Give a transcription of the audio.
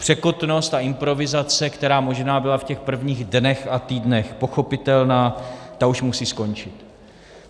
Překotnost a improvizace, která možná byla v těch prvních dnech a týdnech pochopitelná, ta už musí skončit.